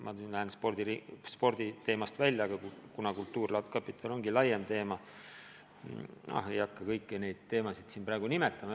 Ma lähen nüüd küll sporditeema piiridest välja, aga kultuurkapital ongi laiem teema – ma ei hakka kõiki neid alateemasid siin praegu nimetama.